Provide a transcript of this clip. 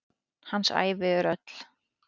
Hans ævi er öll.